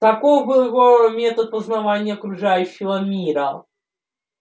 таков был его метод познавания окружающего мира